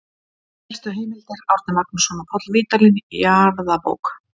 Helstu heimildir: Árni Magnússon og Páll Vídalín, Jarðabók.